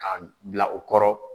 K'a bila o kɔrɔ